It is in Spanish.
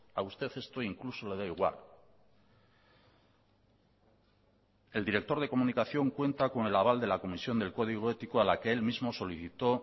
a usted esto incluso le da igual el director de comunicación cuenta con el aval de la comisión del código ético a la que él mismo solicitó